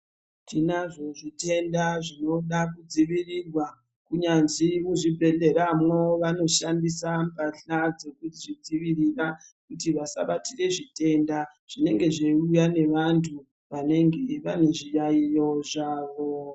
Tinazvo zvitenda zvinoda kudzivirirwa kunyanzi muzvi bhedhlera mwo vanoshandisa mbahla dzekuzvidzivirira kuti vasabatire zvitenda. Zvinenge zveiuya nevantu vanenge vane zviyaiyo zvavo.